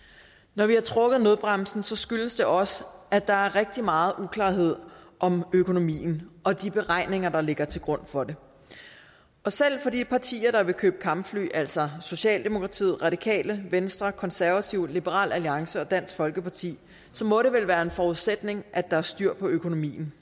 når vi har trukket nødbremsen skyldes det også at der er rigtig meget uklarhed om økonomien og de beregninger der ligger til grund for den selv for de partier der vil købe kampfly altså socialdemokratiet radikale venstre konservative liberal alliance og dansk folkeparti så må det vel være en forudsætning at der er styr på økonomien